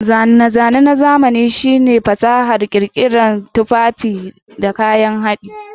Zane-zane na zamani shine fasahar ƙirƙirar tufafi da kayan haɗi.